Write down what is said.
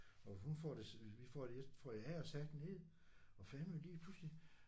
Og hun får det vi får det jeg får det af og sat ned og fandeme lige pludselig